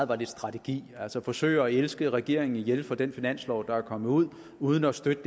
var lidt strategi altså at forsøge at elske regeringen ihjel for den finanslov der er kommet ud uden at støtte